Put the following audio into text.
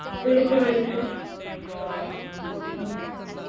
വിളിച്ചു വിളിച്ചു